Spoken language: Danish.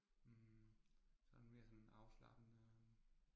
Hm sådan mere sådan afslappende øh